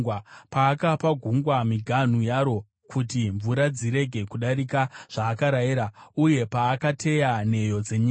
paakapa gungwa miganhu yaro kuti mvura dzirege kudarika zvaakarayira, uye paakateya nheyo dzenyika.